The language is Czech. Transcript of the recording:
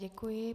Děkuji.